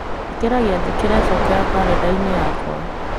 ĩkĩra gĩathĩ kĩrecokera karenda-inĩ yakwa